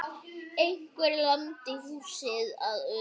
Einhver lamdi húsið að utan.